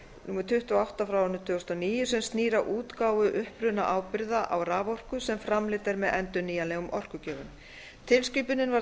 númer tuttugu og átta tvö þúsund og átta sem snýr að útgáfu upprunaábyrgða á raforku sem framleidd er með endurnýjanlegum orkugjöfum tilskipunin var